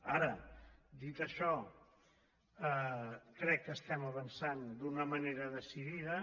ara dit això crec que estem avançant d’una manera decidida